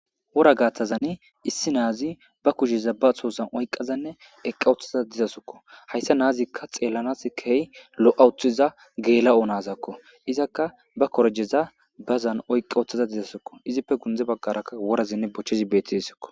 wora gaathazani issi naazi ba kusheza ba soosan oyqazanne eqqa oththaza dizasokko hayssa naazikka xeellanas kehy lo'awuthiza geela'o naazakko izakka ba korjeza bazan oyqa oththaza dizasokko izippe gundze baggaraka worazinne bochchezi betiesokko